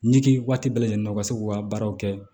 Ɲigi waati bɛɛ lajɛlen ka se k'u ka baaraw kɛ